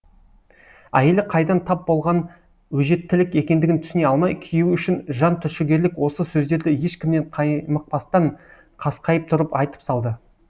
әйелі қайдан тап болған өжеттілік екендігін түсіне алмай күйеуі үшін жан түршігерлік осы сөздерді ешкімнен қаймықпастан қасқайып тұрып айтып салды